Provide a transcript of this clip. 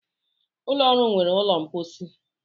Ulọ ọrụ nwere ụlọ mposi.